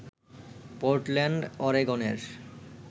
Portland অরেগনের